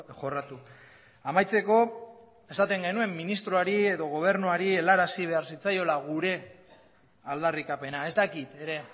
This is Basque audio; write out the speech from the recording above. jorratu amaitzeko esaten genuen ministroari edo gobernuari helarazi behar zitzaiola gure aldarrikapena ez dakit ere